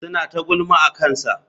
Suna ta gulma akansa.